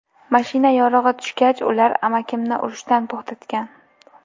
Mashina yorug‘i tushgach, ular amakimni urishdan to‘xtagan.